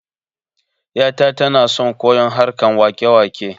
Yata tana son koyon harkan wakewake